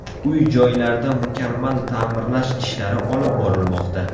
Uy-joylarda mukammal ta’mirlash ishlari olib borilmoqda.